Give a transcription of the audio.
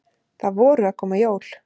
Það voru að koma jól.